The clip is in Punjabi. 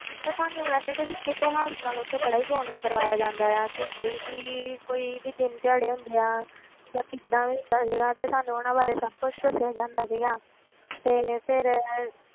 ਤੇ ਸਾਨੂੰ ਵੈਸੇ ਤੇ ਸਿੱਖ ਇਤਿਹਾਸ ਨਾਲ ਉੱਥੇ ਬੜਾ ਹੀ ਜੋੜਨਾ ਕਰਵਾਇਆ ਜਾਂਦਾ ਆ ਕਿ ਕੋਈ ਵੀ ਕੋਈ ਵੀ ਦਿਨ ਦਿਹਾੜੇ ਹੁੰਦੇ ਆ ਜਾਂ ਕਿੱਦਾਂ ਵੀ ਹੁੰਦਾ ਸੀਗਾ ਤੇ ਸਾਨੂੰ ਉਹਨਾਂ ਬਾਰੇ ਸਭ ਕੁਛ ਦੱਸਿਆ ਜਾਂਦਾ ਸੀਗਾ ਤੇ ਫਿਰ